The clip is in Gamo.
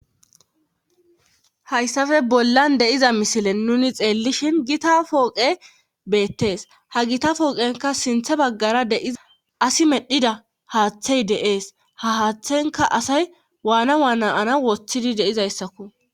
Hayssappe bollan de'iza misilen nuni xeellishin gita pooqe beettees ha gita pooqenka sinthe baggara deiza asi medhida haaththey deees ha haaththenka asay waana waanaana woththidi deizayssakko.